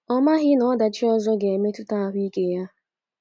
Ọ maghị na ọdachi ọzọ ga- emetụta ahụ ike ya!